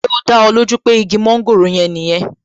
Ṣé ó dá ẹ lójú pé igi mọ́ńgòrò yẹn nìyẹn